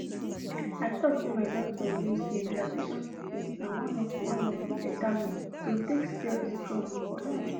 i talk say my doctor even say relaxation technique na one of na one of the beta way to take stay strong for long